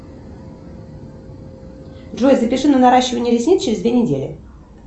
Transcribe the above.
джой запиши на наращивание ресниц через две недели